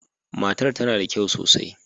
Matar tana da kyau sosai.